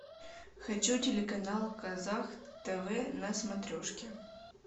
хочу телеканал казах тв на смотрешке